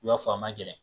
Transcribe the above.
I b'a fɔ a ma gɛlɛn